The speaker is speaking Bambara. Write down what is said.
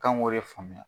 K'an k'o de faamuya